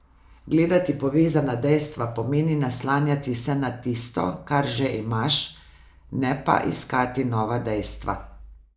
Gledati povezana dejstva pomeni naslanjati se na tisto, kar že imaš, ne pa iskati nova dejstva.